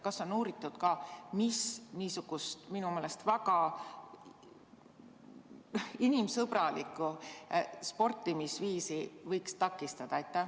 Kas on uuritud ka, mis niisugust minu meelest väga inimsõbralikku sportimisviisi võiks takistada?